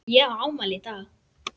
Ég á afmæli í dag.